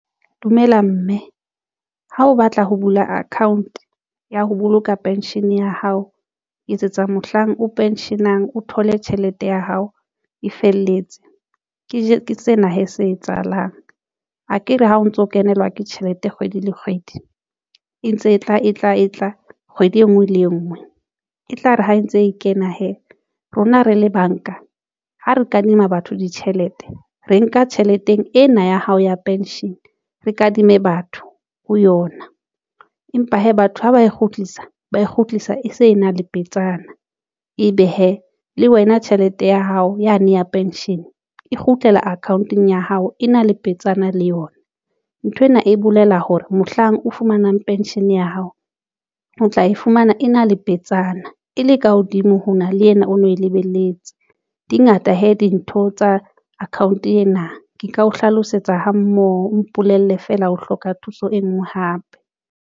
Dumela mme ha o batla ho bula account ya ho boloka pension ya hao, e etsetsa mohlang o pension-ang, o thole tjhelete ya hao e felletse ke sena hee se etsahalang akere ha o ntso kenelwa ke tjhelete kgwedi le kgwedi e ntse etla etla etla kgwedi e nngwe le e nngwe e tlare ha e ntse e kena hee rona re le banka ha re kadima batho ditjhelete, re nka tjheleteng ena ya hao ya pension re kadime batho ho yona, empa hee batho ha ba e kgutlisa ba e kgutlisa, e se na le petetsana, ebe hee le wena tjhelete ya hao yane ya pension e kgutlela akhaonteng ya hao e na le petetsana le yona. Nthwena e bolela hore mohlang o fumanang pension ya hao o tla e fumana, e na le petetsana e le ka hodimo. Ho na le ena o no e lebelletse dingata hee dintho tsa account ena ke nka o hlalosetsa ha mmoho, o mpolelle feela o hloka thuso e nngwe hape.